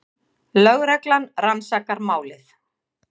Lögreglan rannsakar málið